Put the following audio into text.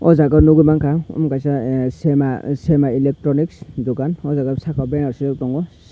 o jaga o nogoi mangka ang omo kaisa ah sema sema electronic dokan o jaga o saka o bennaro sijak tongo.